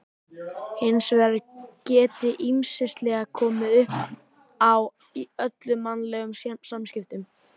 Hins vegar geti ýmislegt komið uppá í öllum mannlegum samskiptum.